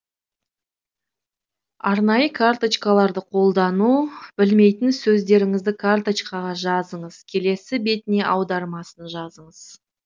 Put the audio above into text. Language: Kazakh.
арнайы карточкаларды қолдану білмейтін сөздеріңізді карточкаға жазыңыз келесі бетіне аудармасын жазыңыз